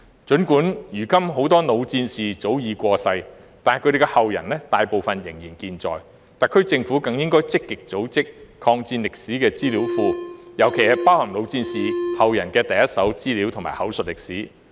儘管如今很多老戰士早已過世，但他們的後人大部分仍健在，特區政府應更積極組建抗戰歷史資料庫，尤其是包含老戰士後人的第—手資料和口述歷史。